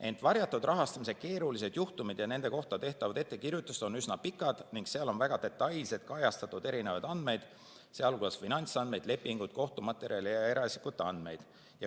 Ent varjatud rahastamise keerulised juhtumid ja nende kohta tehtavad ettekirjutused on üsna pikad ning seal on väga detailselt kajastatud erinevaid andmeid, sh finantsandmeid, lepinguid, kohtumaterjale ja eraisikute andmeid.